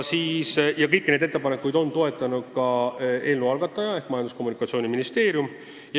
Ja kõiki neid ettepanekuid on toetanud ka eelnõu algataja ehk Majandus- ja Kommunikatsiooniministeerium.